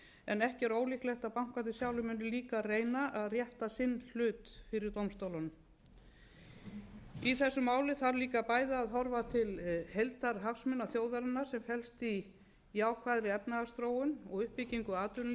en ekki er ólíklegt að bankarnir sjálfir munu líka reyna að rétta sinn hlut fyrir dómstólunum í þessu máli þarf líka bæði að horfa til heildarhagsmuna þjóðarinnar sem felst í jákvæðri efnahagsþróun og uppbyggingu atvinnulífsins